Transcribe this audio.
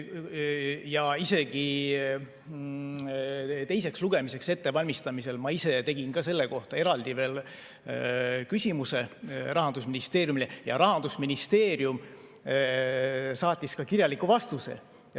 Ja isegi teiseks lugemiseks ettevalmistamisel ma ise tegin selle kohta eraldi veel küsimuse Rahandusministeeriumile ja Rahandusministeerium saatis kirjaliku vastuse.